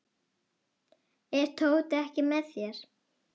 Er Tóti ekki með þér?